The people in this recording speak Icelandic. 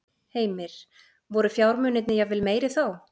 Heimir: Voru fjármunirnir jafnvel meiri þá?